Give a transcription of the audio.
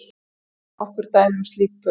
Tökum nokkur dæmi um slík pör.